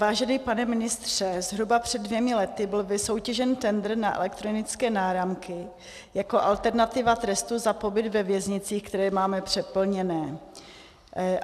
Vážený pane ministře, zhruba před dvěma lety byl vysoutěžen tendr na elektronické náramky jako alternativa trestu za pobyt ve věznicích, které máme přeplněné.